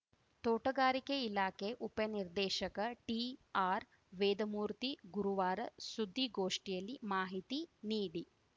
ತೋಟಗಾರಿಕೆ ಇಲಾಖೆ ಉಪ ನಿರ್ದೇಶಕ ಟಿಆರ್‌ವೇದಮೂರ್ತಿ ಗುರುವಾರ ಸುದ್ದಿಗೋಷ್ಠಿಯಲ್ಲಿ ಮಾಹಿತಿ ನೀಡಿ